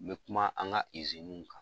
N bɛ kuma an ka iziniw kan.